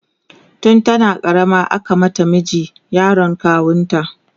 tun tana karama aka mata miji, yaron kawunta